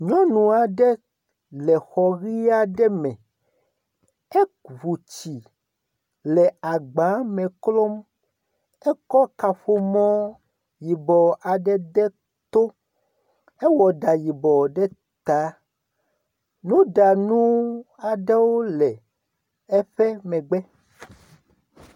Nyɔnu aɖe le xɔ ɣi aɖe me. Eʋu tsi le agba me klɔm. Ekɔ kaƒomɔ yibɔ aɖe de to. Ewɔ ɖa yibɔ ɖe ta. Nuɖanu aɖewo le eƒe megbe.